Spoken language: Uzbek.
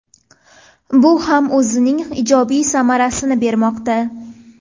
Bu ham o‘zining ijobiy samarasini bermoqda.